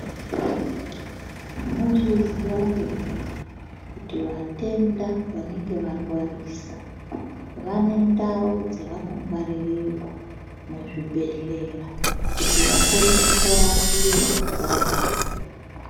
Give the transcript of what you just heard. Munozviziya here kuti vatenda vanenge varwarisa vanentawo dzavanongwarirwa muzvibhedlera ,kuti vakone kumborapiwa varimo.